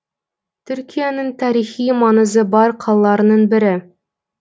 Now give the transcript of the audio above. түркияның тарихи маңызы бар қалаларының бірі